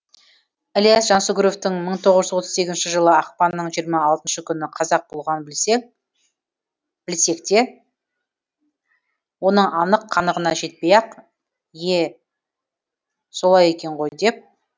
ілияс жансүгіровтің мың тоғыз жүз отыз сегізінші жылы ақпанның жиырма алтыншы күні қаза болғанын білсек те оның анық қанығына жетпей ақ ие солай екен ғой деп